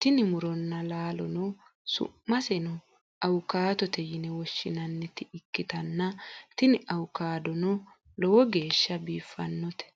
tini muronna laalono su'maseno awukaadote yine woshshinanniti ikkitanna, tini awukaadono lowo geeshhsha biiffannote.